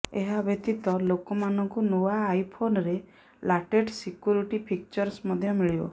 ଏହା ବ୍ୟତୀତ ଲୋକ ମାନଙ୍କୁ ନୂଆ ଆଇଫୋନରେ ଲାଟେଷ୍ଟ ସିକ୍ୟୁରିଟି ଫିଚର୍ସ ମଧ୍ୟ ମିଳିବ